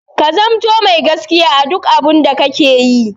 Ka zamanto mai gaskiya a duk abun da kake yi!